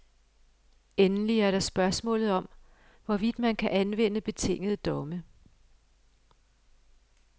Endelig er der spørgsmålet om, hvorvidt man kan anvende betingede domme.